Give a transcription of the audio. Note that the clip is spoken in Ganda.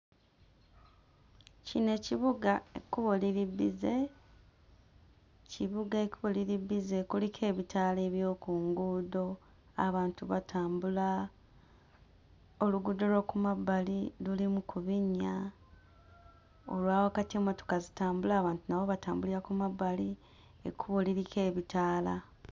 Kino ekibuga ekkubo liri bbize. Kibuga, ekkubo liri bbize, kuliko ebitaala eby'oku nguudo, abantu batambula, oluguudo lw'oku mabbali lulimu ku binnya, olwa wakati emmotoka zitambula, abantu nabo batambulira ku mabbali, ekkubo liriko ebitaala.